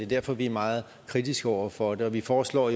derfor vi er meget kritiske over for det vi foreslår